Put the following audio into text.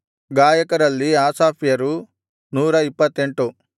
ಗಾಯಕರಲ್ಲಿ ಆಸಾಫ್ಯರು 128